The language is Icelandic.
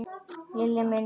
Lilli minn.